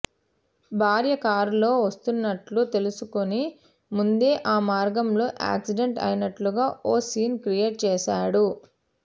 భార్య కారులో వస్తున్నట్టు తెలుసుకుని ముందే ఆ మార్గంలో యాక్సిడెంట్ అయినట్టుగా ఓ సీన్ క్రియేట్ చేశాడు